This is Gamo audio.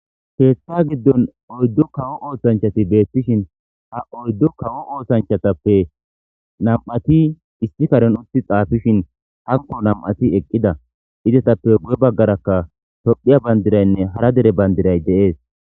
keeththa giddon oyddu kawo oosanchati beettishin ha oyddu kawo oosanchatappe nam7ati isti karen uthi xaafishin hanko nam7ati eqqida izetappe gu7e baggarakka tophiya bayndiraynne hara dere bandiray deees